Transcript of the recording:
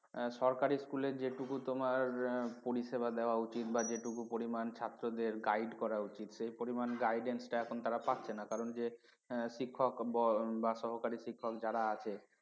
সরকারি school এর যেটুকু তোমার পরিষেবা দেওয়া উচিত বা যেটুকু পরিমাণ ছাত্রদের guide করা উচিত সেই পরিমাণ guidance টা এখন তারা পাচ্ছে না কারণ যে শিক্ষক বা সহকারী শিক্ষক যারা আছে